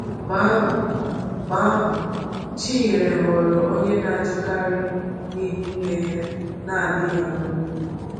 Mgbe ahụ, Mgbe ahụ, Chinyere ghọrọ onye na-ajụkarị n’ihu nne ya na-adịghị amụ nwa.